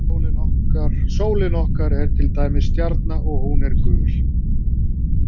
Sólin okkar er til dæmis stjarna og hún er gul.